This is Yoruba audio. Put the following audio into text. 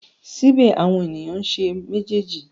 Síbẹ̀ àwọn ènìyàn ń ṣe méjèèjì.